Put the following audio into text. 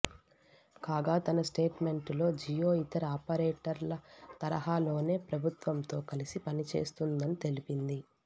కాగా తన స్టేట్మెంటులో జియో ఇతర ఆపరేటర్ల తరహాలోనే ప్రభుత్వంతో కలిసి పనిచేస్తుందని తెలిపింది